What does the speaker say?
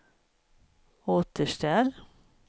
återställ